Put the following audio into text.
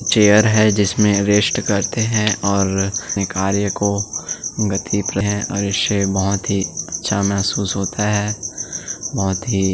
chair है जिसमें rest करते हैं और अपने कार्य को गति पर है और इससे बहुत ही अच्छा महसूस होता है बहोत ही--